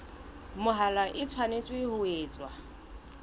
mahola e tshwanetse ho etswa